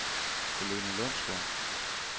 Helene Lundsgaard